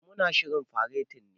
Eh, mu na shirin fareti ne.